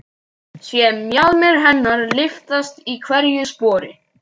Sé mjaðmir hennar lyftast í hverju spori.